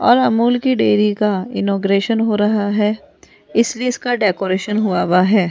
और अमूल की डेयरी का इनॉग्रेशन हो रहा है इसलिए इसका डेकोरेशन हुआ हुआ है।